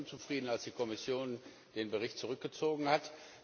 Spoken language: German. Ich war sehr unzufrieden, als die Kommission den Bericht zurückgezogen hat.